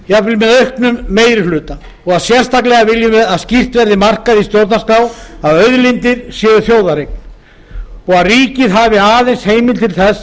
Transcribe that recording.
jafnvel með auknum meiri hluta og sérstaklega viljum við að skýrt verði markað í stjórnarskrá að auðlindir séu þjóðareign og ríkið hafi aðeins heimild til þess